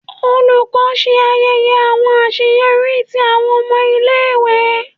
Olukọni ṣe ayẹyẹ awọn aṣeyọri ti awọn ọmọ ile-iwe.